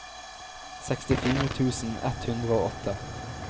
sekstifire tusen ett hundre og åtte